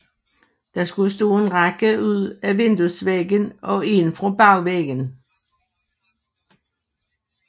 Der skulle stå en række ud fra vinduesvæggen og en fra bagvæggen